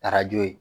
Arajo ye